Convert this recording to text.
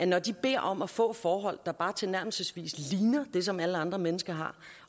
når de beder om at få forhold der bare tilnærmelsesvis ligner dem som alle andre mennesker har